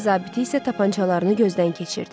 Dəniz zabiti isə tapançalarını gözdən keçirdi.